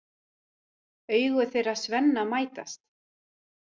Augu þeirra Svenna mætast.